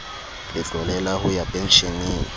letlole la ho ya pensheneng